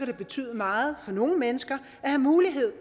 det betyde meget for nogle mennesker at have mulighed